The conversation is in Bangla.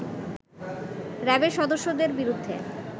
র‍্যাবের সদস্যদের বিরুদ্ধে